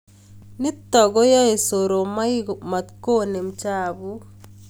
Nitok koaey soromaik matkonem chapuk